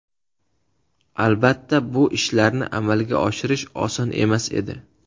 Albatta, bu ishlarni amalga oshirish oson emas edi.